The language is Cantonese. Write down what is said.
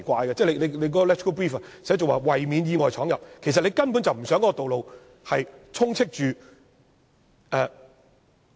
立法會參考資料摘要寫着"為免車輛意外闖入"，其實當局根本不想道路充斥着......